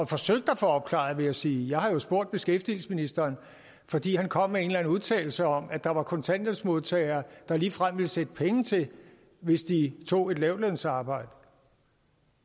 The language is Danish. forsøgt at få opklaret vil jeg sige jeg har spurgt beskæftigelsesministeren fordi han kom med en eller anden udtalelse om at der var kontanthjælpsmodtagere der ligefrem ville sætte penge til hvis de tog et lavtlønsarbejde